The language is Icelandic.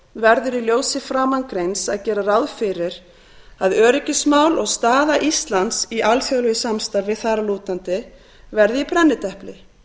verður í ljósi framangreinds að gera ráð fyrir að öryggismál og staða íslands í alþjóðlegu samstarfi þar að lútandi verði í brennidepli